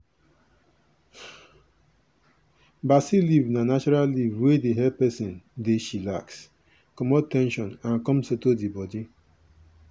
basil leaf na natural leaf wey dey help person dey chillax comot ten sion and come settle the body.